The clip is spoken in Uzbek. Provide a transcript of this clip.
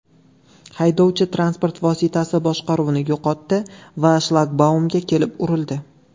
Haydovchi transport vositasi boshqaruvini yo‘qotdi va shlagbaumga kelib urildi.